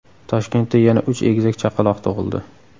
Toshkentda yana uch egizak chaqaloq tug‘ildi.